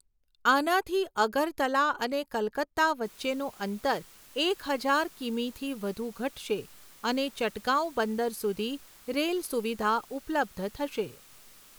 આનાથી અગરતલા અને કલકત્તા વચ્ચેનું અંતર એક હજાર કિમીથી વધુ ઘટશે અને ચટગાંવ બંદર સુધી રેલ સુવિધા ઉપલબ્ધ થશે.